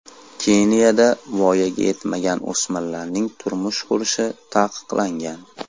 Keniyada voyaga yetmagan o‘smirlarning turmush qurishi taqiqlangan.